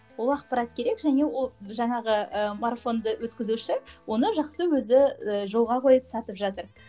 ол ақпарат керек және ол жаңағы ы марафонды өткізуші оны жақсы өзі і жолға қойып сатып жатыр